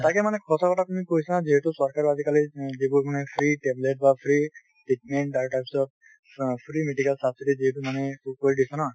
তাকে মানে সঁচা কথা তুমি কৈছা যিহেতু চৰকাৰে আজিকালি যিবোৰ মানে free tablet বা free treatment আৰু তাৰ পিছত ফ free medical subsidy যিহেতু মানে এইবোৰ কৰি দিছে ন।